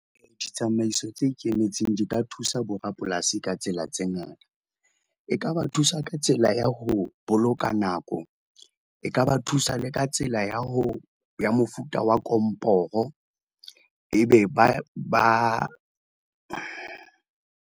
Ditsamaiso tse ikemetseng di ka thusa borapolasi ka tsela tse ngata, e ka ba thusa ka tsela ya ho boloka nako, e ka ba thusa le ka tsela ya mofuta wa komporo. Ebe ba ba.